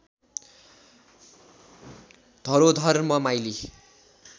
धरोधर्म माइली